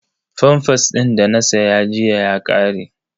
Famfas din da na saya jiya ya ƙare.